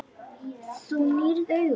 Þú nýrð augun.